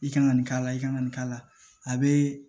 I kan ka nin k'a la i kan ka nin k'a la a bɛ